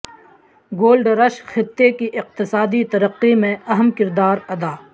gold rush خطے کی اقتصادی ترقی میں اہم کردار ادا